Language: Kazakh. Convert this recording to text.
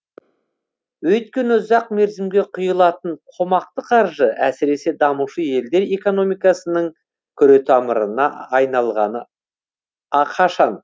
өйткені ұзақ мерзімге құйылатын қомақты қаржы әсіресе дамушы елдер экономикасының күретамырына айналғалы қашан